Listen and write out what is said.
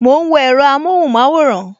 Mo ń wo èro amohun maworan